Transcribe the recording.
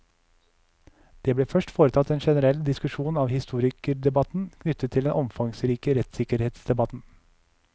Det blir først foretatt en generell diskusjon av historikerdebatten knyttet til den omfangsrike rettssikkerhetsdebatten.